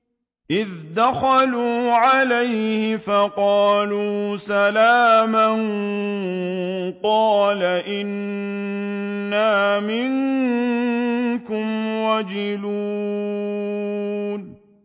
إِذْ دَخَلُوا عَلَيْهِ فَقَالُوا سَلَامًا قَالَ إِنَّا مِنكُمْ وَجِلُونَ